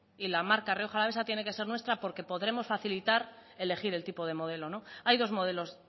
y la marca rioja alavesa tiene que ser nuestra porque podremos facilitar elegir el tipo de modelo hay dos modelos